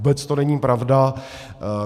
Vůbec to není pravda.